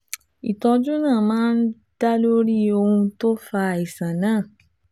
Ìtọ́jú náà máa ń dá lórí ohun tó fa àìsàn náà